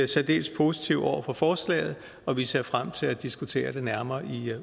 særdeles positive over for forslaget og vi ser frem til at diskutere det nærmere i